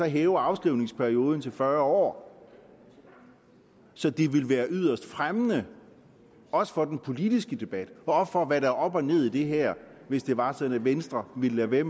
hæver afskrivningsperioden til fyrre år så det vil være yderst fremmende også for den politiske debat og for hvad der er op og ned i det her hvis det var sådan at venstre ville lade være